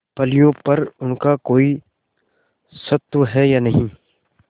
फलियों पर उनका कोई स्वत्व है या नहीं